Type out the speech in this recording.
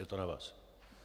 Je to na vás.